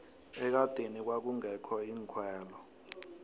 ekadeni kwakungekho iinkhwelo